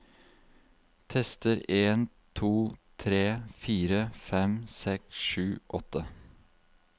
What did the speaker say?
Tester en to tre fire fem seks sju åtte